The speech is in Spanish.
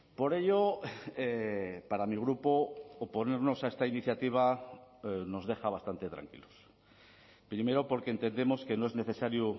por ello para mi grupo oponernos a esta iniciativa nos deja bastante tranquilos primero porque entendemos que no es necesario